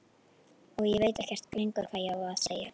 Og ég veit ekkert lengur hvað ég á að segja.